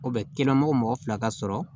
O bɛ kɛnɛmana mɔgɔ fila ka sɔrɔ